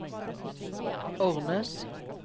Ornes